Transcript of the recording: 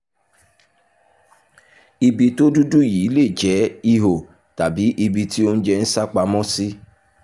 ibi tó dúdú yìí lè jẹ́ ihò tàbí ibi tí oúnjẹ sápamọ́ sí